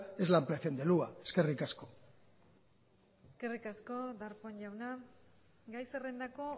es la ampliación de hua eskerrik asko eskerrik asko darpón jauna gai zerrendako